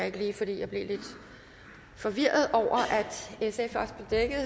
ikke lige fordi jeg blev lidt forvirret over at